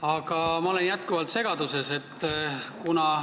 Aga ma olen jätkuvalt segaduses.